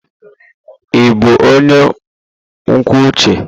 Ị bụ onye kwuo uche?